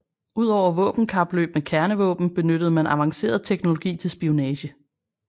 Udover våbenkapløb med kernevåben benyttede man avanceret teknologi til spionage